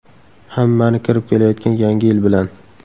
Hammani kirib kelayotgan Yangi yil bilan!